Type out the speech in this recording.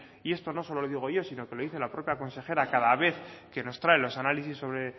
y esto no solo lo digo yo sino que lo dice la propia consejera cada vez que nos trae los análisis sobre